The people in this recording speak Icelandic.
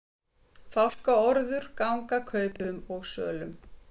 Fálkaorður ganga kaupum og sölum